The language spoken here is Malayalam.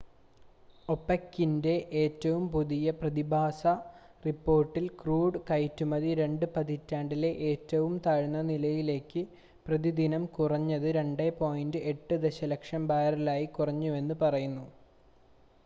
ഒപെക്കിൻ്റെ ഏറ്റവും പുതിയ പ്രതിമാസ റിപ്പോർട്ടിൽ ക്രൂഡ് കയറ്റുമതി രണ്ട് പതിറ്റാണ്ടിലെ ഏറ്റവും താഴ്ന്ന നിലയിലേക്ക് പ്രതിദിനം കുറഞ്ഞ് 2.8 ദശലക്ഷം ബാരലായി കുറഞ്ഞുവെന്ന് പറയുന്നു